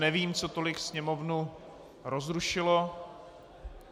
Nevím, co tolik sněmovnu rozrušilo.